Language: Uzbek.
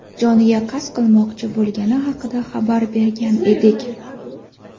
joniga qasd qilmoqchi bo‘lgani haqida xabar bergan edik.